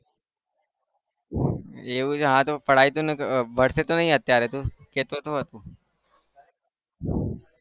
એવું છે હા તો पढाई અત્યારે તો કહેતો હતો